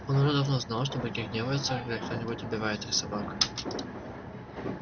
он уже давно знал что боги гневаются когда кто нибудь убивает их собак